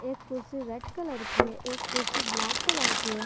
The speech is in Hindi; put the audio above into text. एक कुर्सी रेड कलर की है एक कुर्सी ब्लैक कलर की है।